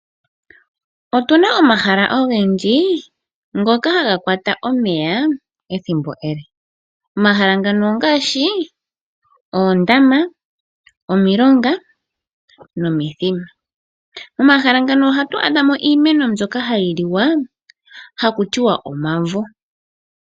Otuna omahala ogendji ngoka haga kwata omeya ethimbo ele. Omahala ngano ongaashi oondama, omilonga nomithima. Omahala ngano ohatu adha mo iimeno mbyoka hayi liwa, haku tiwa omavo.